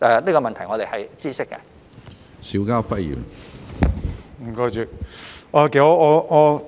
這個問題，我們是知悉的。